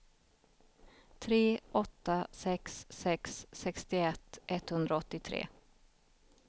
tre åtta sex sex sextioett etthundraåttiotre